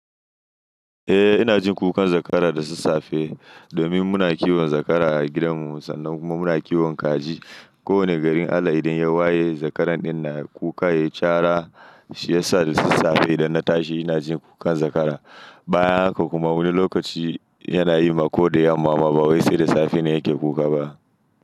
Eh ina jin kukan zakara da sassafe domin muna kiwon zakara a gidanmu sannan kuma muna kiwon kaji. Ko wane garin Allah idan ya waye zakaran ɗinnan kuka ya cara shi yasa da sassafe idan na tashi ina jin kukan zakara. Bayan haka kuma wani lokaci yana yi mako da yamma ma ba wai sai da safe ne yake kuka ba.